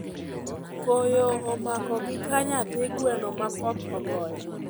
Koyo omako gi ka nyathi gweno ma koth ogoyo